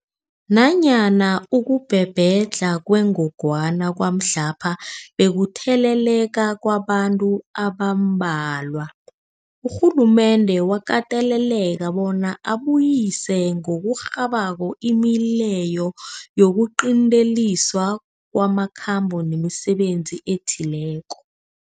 Nanyana ukubhebhedlha kwengogwana kwamhlapha bekukutheleleka kwabantu abambalwa, urhulumende wakateleleka bona abuyise ngokurhabako imileyo yokuqinteliswa kwamakhambo nemisebenzi ethileko.